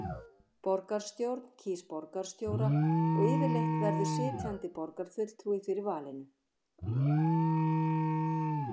Borgarstjórn kýs borgarstjóra og yfirleitt verður sitjandi borgarfulltrúi fyrir valinu.